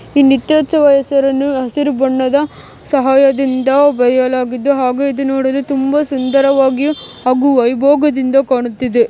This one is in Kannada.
ಈ ನೀತ್ಯೊತ್ಸವ ಹೆಸರನ್ನು ಹಸಿರು ಬಣ್ಣದ ಸಹಾಯದಿಂದ ಬರಿಯಲಾಗಿದೆ ಹಾಗೂ ಇದು ನೋಡಲು ತುಂಬಾ ಸುಂದರವಾಗಿಯು ಹಾಗು ವೈಭೋಗದಿಂದ ಕಾಣುತ್ತಿದೆ.